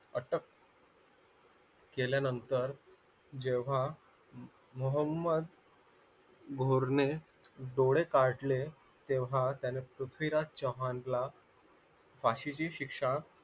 अटक केल्यानंतर जेव्हा मोहम्मद घोरणे डोळे काढले तेव्हा त्याला पृथ्वीराज चव्हाणला फाशीची शिक्षा